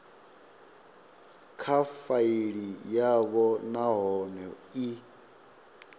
kha faili yavho nahone i